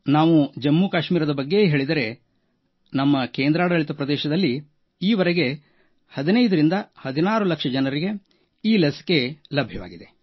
ನಾವು ಜಮ್ಮು ಕಾಶ್ಮೀರದ ಬಗ್ಗೆಯೇ ಹೇಳಿದರೆ ನಮ್ಮ ಕೇಂದ್ರಾಡಳಿತ ಪ್ರದೇಶದಲ್ಲಿ ಈವರೆಗೆ 15ರಿಂದ 16 ಲಕ್ಷ ಜನ ಈ ಲಸಿಕೆ ಪಡೆದಿದ್ದಾರೆ